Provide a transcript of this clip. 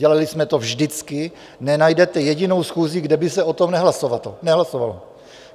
Dělali jsme to vždycky, nenajdete jedinou schůzi, kde by se o tom nehlasovalo.